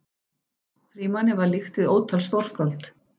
Frímanni var líkt við ótal stórskáld.